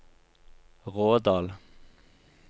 Rådal